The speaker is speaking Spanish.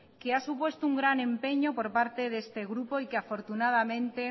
que ha supuesto un gran empeño por parte de este grupo y que afortunadamente